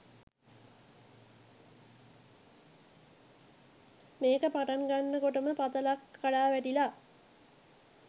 මේක පටන්ගන්න කොටම පතලක් කඩාවැටිලා